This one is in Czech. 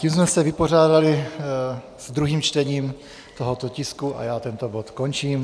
Tím jsme se vypořádali s druhým čtením tohoto tisku a já tento bod končím.